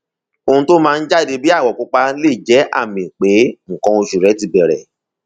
ohun tó máa ń jáde bíi àwọ pupa lè jẹ àmì pé nǹkan oṣù ti bẹrẹ